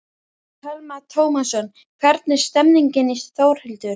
Telma Tómasson: Hvernig er stemningin Þórhildur?